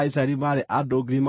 Jehova akĩĩra Musa atĩrĩ,